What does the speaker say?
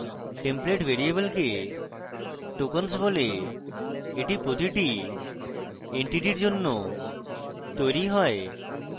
template ভ্যারিয়েবলকে tokens বলে এটি প্রতিটি entity এর জন্য তৈরী হয়